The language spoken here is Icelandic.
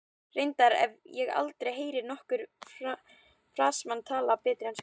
Reyndar hef ég aldrei heyrt nokkurn Fransmann tala betur ensku.